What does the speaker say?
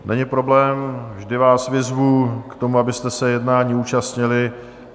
Není problém, vždy vás vyzvu k tomu, abyste se jednání účastnili.